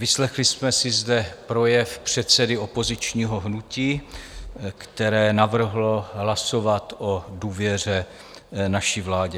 Vyslechli jsme si zde projev předsedy opozičního hnutí, které navrhlo hlasovat o důvěře naší vládě.